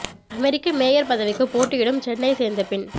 அமெரிக்க mayor பதவிக்கு போட்டியிடும் சென்னையை சேர்ந்த பெண்